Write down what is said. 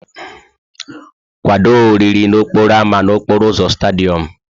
Kwado oriri n'okporo ámá n'okporo ụzọ Stádịọm!